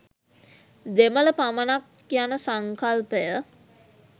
දෙමළ පමණක් යන සංකල්පය